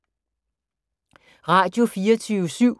Radio24syv